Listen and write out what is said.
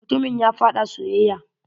Mutumin ya faɗa soyayya.